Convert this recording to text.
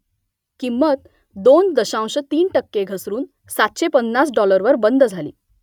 किंमत दोन दशांश तीन टक्के घसरून सातशे पन्नास डॉलरवर बंद झाली